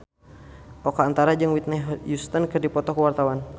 Oka Antara jeung Whitney Houston keur dipoto ku wartawan